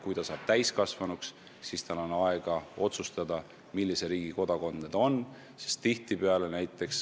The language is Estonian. Kui ta saab täiskasvanuks, siis tal on aega otsustada, millise riigi kodanik ta on.